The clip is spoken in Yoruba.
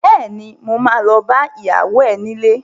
Bẹ́ẹ̀ni, mo ma lọ bá ìyàwó ẹ nílé